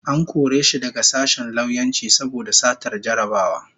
An kore shi daga sashen lauyanci saboda satar jarrabawa